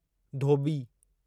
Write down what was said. धोॿी